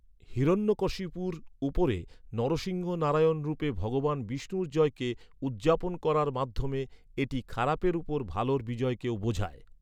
হিরণ্যকশিপুর উপরে, নরসিংহ নারায়ণ রূপে ভগবান বিষ্ণুর জয়কে উদ্‌যাপন করার মাধ্যমে, এটি খারাপের উপর ভালোর বিজয়কেও বোঝায়।